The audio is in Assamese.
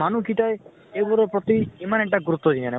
মানুহ কিটাই এইবোৰৰ প্ৰতি ইমান এটা গুৰুত্ব দিয়া নাই